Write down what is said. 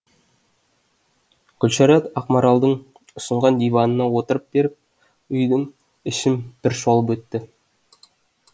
гүлшарат ақмаралдың ұсынған диванына отырып беріп үйдің ішін бір шолып өтті